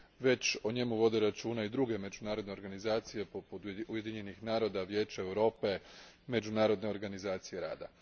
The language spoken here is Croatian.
već o njemu vode računa i druge međunarodne organizacije poput Ujedinjenih naroda, Vijeća Europe, Međunarodne organizacije rada.